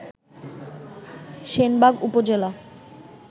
সেনবাগ উপজেলা